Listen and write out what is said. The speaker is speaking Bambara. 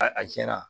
A a cɛnna